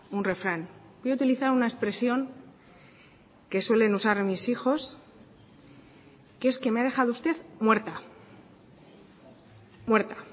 un refrán voy a utilizar una expresión que suelen usar mis hijos que es que me ha dejado usted muerta muerta